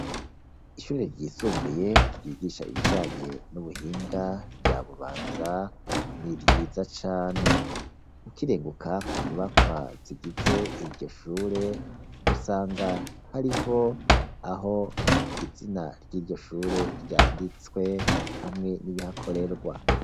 Ishure ryisumbuye, ryigisha ibijanye n' ubuhinga rya Bubanza, ni ryiza cane. Ukirenguka ku nyubakwa zigize iryo shure, usanga hariho aho izina ry' iryo shure vyanditswe, hamwe n' ibihakorerwa.